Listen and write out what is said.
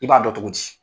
I b'a dɔn cogo di